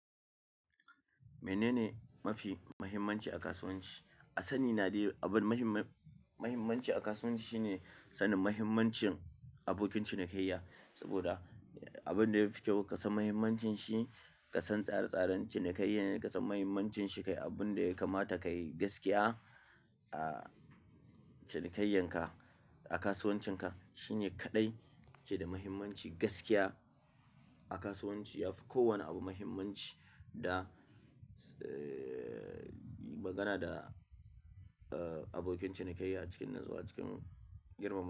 Mene ne mafi muhimmanci a kasuwanci? A sani na dai abin muhim- muhimmanci a kasuwanci shine sanin mahimmancin abokin cinikayya. Saboda abin da yafi kyau ka san mahimmancin shi, ka san tsarar tsaran cinikayya ne ka san mahimmancin shi, kai abin da ya kamata kayi gaskiya a cinikayyanka a kasuwancinka. Shi ne kaɗai ke da mahimmanci gaskiya a kasuwanci. Yafi kowane abu muhimmanci da, eh, magana da abokin cinikayya a cikin natsuwa a cikin girmamawa.